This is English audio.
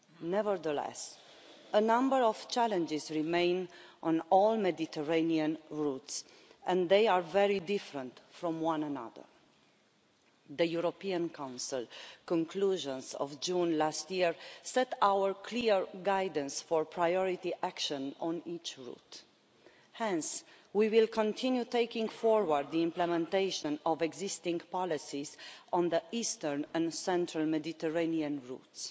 Nevertheless, a number of challenges remain on all Mediterranean routes, and they are very different from one another. The European Council conclusions of June last year set out clear guidance for priority action on each route. Hence we will continue taking forward the implementation of existing policies on the eastern and central Mediterranean routes.